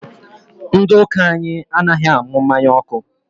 Ndị ụka anyị anaghị anụ mmanya ọkụ